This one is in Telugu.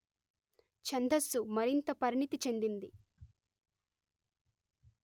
ఛందస్సు మరింత పరిణితి చెందింది